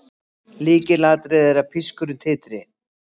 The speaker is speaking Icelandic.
Lykilatriði er að pískurinn titri.